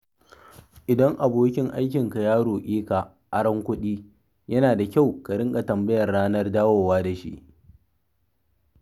Idan abokin aikinka ya roƙe ka aron kuɗi, yana da kyau ka riƙa tambayar ranar dawowa da shi.